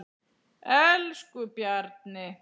Elsku Bjarni.